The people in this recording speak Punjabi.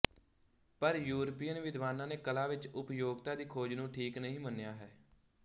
ਪਰ ਯੂਰਪੀਅਨ ਵਿਦਵਾਨਾਂ ਨੇ ਕਲਾ ਵਿੱਚ ਉਪਯੋਗਤਾ ਦੀ ਖੋਜ ਨੂੰ ਠੀਕ ਨਹੀਂ ਮੰਨਿਆ ਹੈ